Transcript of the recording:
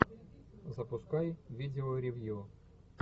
запускай видео ревью